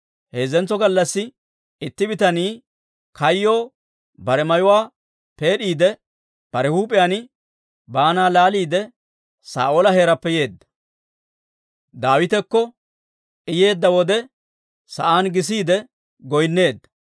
Heezzantso gallassi itti bitanii kayyoo bare mayuwaa peed'iide, bare huup'iyaan baana laaliide, Saa'oola heeraappe yeedda. Daawitekko I yeedda wode, sa'aan gisiide goynneedda.